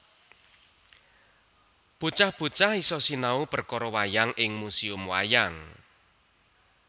Bocah bocah iso sinau perkoro wayang ing Museum Wayang